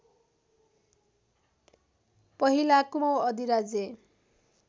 पहिला कुमाउँ अधिराज्य